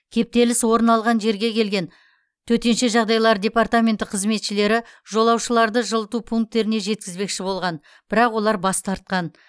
кептеліс орын алған жерге келген төтенше жағдайлар департаменті қызметшілері жолаушыларды жылыту пунктеріне жеткізбекші болған бірақ олар бас тартқан